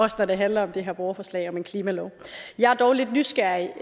også når det handler om det her borgerforslag om en klimalov jeg er dog lidt nysgerrig